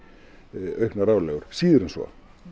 auknar álögur síður en svo